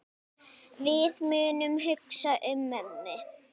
Við munum hugsa um mömmu.